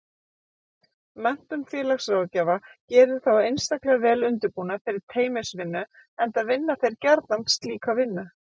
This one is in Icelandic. Menntun félagsráðgjafa gerir þá einstaklega vel undirbúna fyrir teymisvinnu enda vinna þeir gjarnan slíka vinnu.